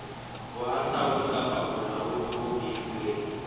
bohahlaudi kapa bolaodi bo beilweng